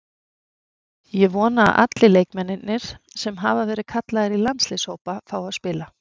Ég vona að allir leikmennirnir sem hafa verið kallaðir í landsliðshópa fái að spila.